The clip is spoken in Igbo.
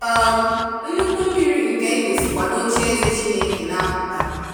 um Nnụkwụ mmiri nke ndụ sikwa nocheeze Chineke na-apụta.